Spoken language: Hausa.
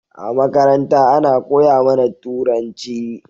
A makaranta Ana koya mAna turanci